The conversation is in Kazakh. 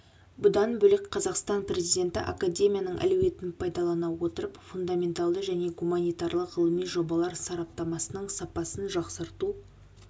бұдан бөлек қазақстан президенті академияның әлеуетін пайдалана отырып фундаменталды және гуманитарлық ғылыми жобалар сараптамасының сапасын жақсарту